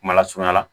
Kumalasurunya la